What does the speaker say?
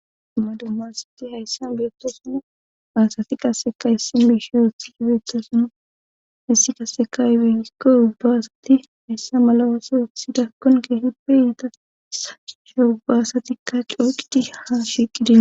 Dumma dummasati hayssan beetosana aasati qaseka hissin biishe hethii beethasana hissi qaseka ibehikko ubbaasati hayssa malawaso eksida konke hibpe yiita sachcha ubbaasatikka cooqidi ha shiiqidin